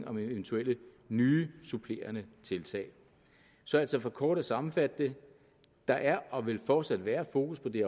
om eventuelle nye supplerende tiltag så altså for kort at sammenfatte det der er og vil fortsat være fokus på det